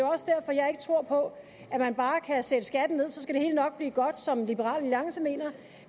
også derfor jeg ikke tror på at man bare kan sætte skatten ned og så skal det hele nok blive godt som liberal alliance mener